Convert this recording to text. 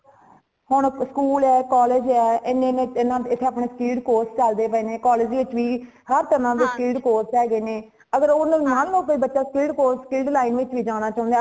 ਹੁਣ school ਹੈ,college ਹੈ, ਏਨੇ ਏਨੇ ਏਡੇ speed course ਚਲਦੇ ਪਏ ਨੇ college ਵਿੱਚ ਵੀ ਹਰਤਰਾ ਦੇ speed course ਹੇਗੇਨੇ ਅਗਰ ਓਨਾ ਨੂੰ ਮਨ ਲੋ ਕਿ ਬੱਚਾ ਕੇਡੇ course ਕੇਡੀ line ਵਿੱਚ ਜਾਣਾ ਚਾਂਦਾ